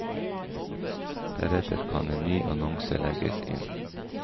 Deretter kan en ny annonse legges inn.